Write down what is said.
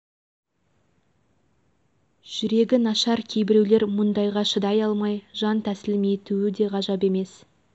жүрегі нашар кейбіреулер мұндайа шыдай алмай жан тәсілім етуі де ғажап емес